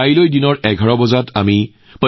এটা অনুষ্ঠানৰ বাবে মই সদায় আগ্ৰহেৰে বাট চাই থাকোঁ